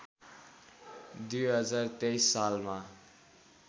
२०२३ सालमा